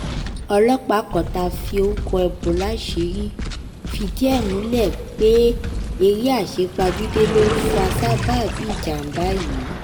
ọlọ́pàá kan tá a forúkọ bọ̀ láṣìírí fìdí ẹ̀ múlẹ̀ pé eré àsepajúdé ló fa sábàbí ìjàm̀bá yìí